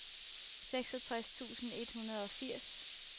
seksogtres tusind et hundrede og firs